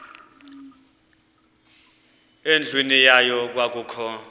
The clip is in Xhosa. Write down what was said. endlwini yayo kwakukho